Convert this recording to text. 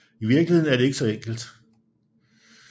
I virkeligheden er det ikke så enkelt